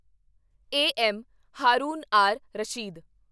A. M. Haroon R Rashid